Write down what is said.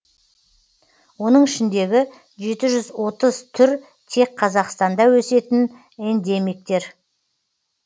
оның ішіндегі жеті жүз отыз түр тек қазақстанда өсетін эндемиктер